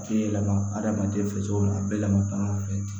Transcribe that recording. A tɛ yɛlɛma adamaden fɛsɛw la a bɛ yɛlɛma taa fɛ